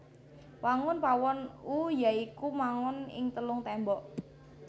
Wangun pawon U ya iku mangon ing telung témbok